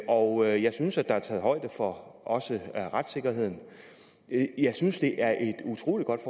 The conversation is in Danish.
og jeg synes der er taget højde for også retssikkerheden jeg synes det er et utrolig godt